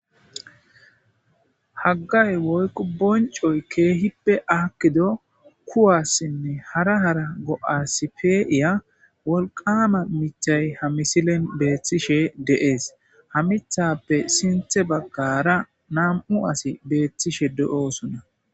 Haggay woyko boncoy keehippe aakkido kuwassinne hara hara go'asi peiya wolqama mithay ha misilen beeththishe deees ha mithappe sinthe baggara nam'u asi beeththishe do'oosona.